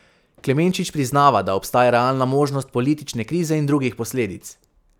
Klemenčič priznava, da obstaja realna možnost politične krize in drugih posledic.